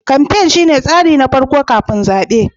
kamfain shine tsari na farko kafin zaɓe.